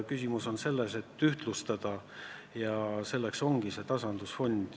Küsimus on ühtlustamises ja selleks ongi tasandusfond.